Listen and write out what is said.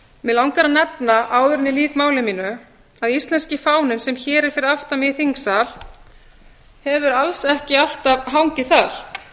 mig langar að nefna áður en ég lýk máli mínu að íslenski fáninn sem hér er fyrir aftan mig í þingsal hefur alls ekki alltaf hangið þar